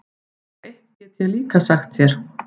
Og eitt get ég líka sagt þér,